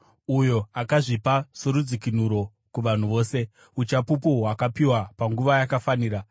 Uyo akazvipa sorudzikinuro kuvanhu vose, uchapupu hwakapiwa panguva yakafanira.